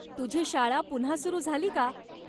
तुझी शाळा पुन्हा सुरू झाली का?